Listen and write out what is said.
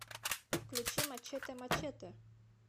включи мачете мачете